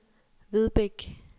Vedbæk